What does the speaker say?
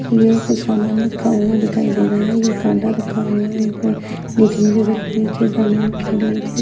यह कुछ सामान रखा हुआ दिखाई दे रहा है यह कांटा रखा हुआ है इसमें नीचे नीचे सबके नीचे सामान कांटे के नीचे --